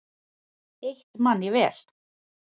Eitt man ég vel.